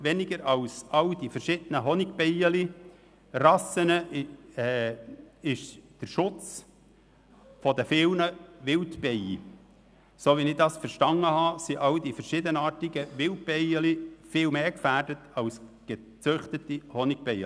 Weniger als die verschiedenen Honigbienenrassen sind viele Wildbienen, so wie ich das verstanden habe, viel mehr gefährdet als gezüchtete Honigbienen.